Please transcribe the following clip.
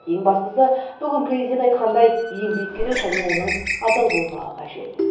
ең бастысы бүгін президент айтқандай еңбек керек және оның адал болмағы қажет